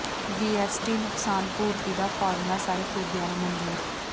GST ਨੁਕਸਾਨ ਪੂਰਤੀ ਦਾ ਫਾਰਮੂਲਾ ਸਾਰੇ ਸੂਬਿਆਂ ਨੂੰ ਮਨਜ਼ੂਰ